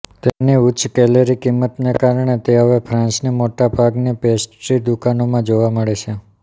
તેની ઉચ્ચ કેલરી કિંમતને કારણે તે હવે ફ્રાંસની મોટાભાગની પેસ્ટ્રી દુકાનોમાં જોવા મળે છે